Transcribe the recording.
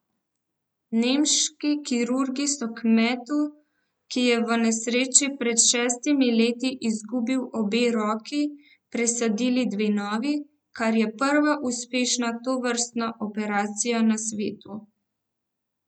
Nemški kirurgi so kmetu, ki je v nesreči pred šestimi leti izgubil obe roki, presadili dve novi, kar je prva uspešna tovrstna operacije na svetu.